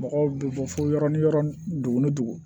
Mɔgɔw bɛ bɔ fo yɔrɔ ni yɔrɔ dugun ni dugu